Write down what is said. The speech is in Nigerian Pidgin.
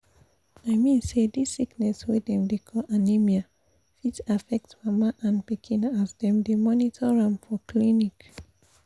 i mean say this sickness wey dem dey call anemia fit affect mama and pikin as dem dey monitor am for clinic